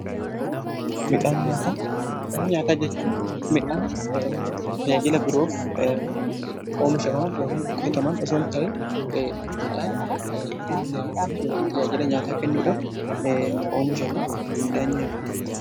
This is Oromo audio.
Midhaan nyaataa jechuun tajaajila biroof oomishaman yookiin qotaman osoon ta'in midhaan nyaata yookiin tajaajila nyaataa kennuudhaf oomishaman midhaan nyaataati.